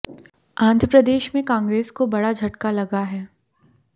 आंध्र प्रदेश में कांग्रेस को बड़ा झटका लगा है